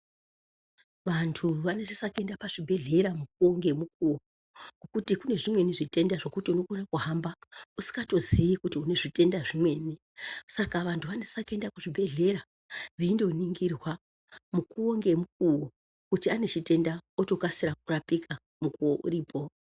Vantu vanosisa kuenda pa zvibhedhlera mukuwo nge mukuwo nekuti kune zvimweni zvitenda zvekuti uno kona kuhamba usikato ziyi kuti une zvitenda zvimweni saka vantu vanosisa kuenda ku zvibhedhlera veindo ningirwa mukuwo nge mukuwo kuti ane chitenda oto kasira kurapika mukuwo uripo.